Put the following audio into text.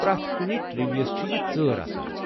پرٮ۪تھ کُنہِ TV یَس چھِ یہِ ژٲر آسان ۔